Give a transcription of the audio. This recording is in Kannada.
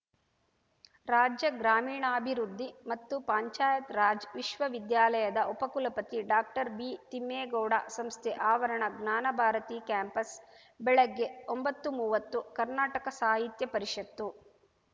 ರಾಜ್ಯ ಗ್ರಾಮೀಣಾಭಿವೃದ್ಧಿ ಮತ್ತು ಪಂಚಾಯತ್ ರಾಜ್‌ ವಿಶ್ವವಿದ್ಯಾಲಯದ ಉಪಕುಲಪತಿ ಡಾಕ್ಟರ್ಬಿತಿಮ್ಮೇಗೌಡ ಸಂಸ್ಥೆ ಆವರಣ ಜ್ಞಾನಭಾರತಿ ಕ್ಯಾಂಪಸ್‌ ಬೆಳಗ್ಗೆ ಒಂಬತ್ತುಮೂವತ್ತು ಕರ್ನಾಟಕ ಸಾಹಿತ್ಯ ಪರಿಷತ್ತು